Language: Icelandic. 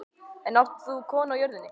En þú átt konu á jörðinni.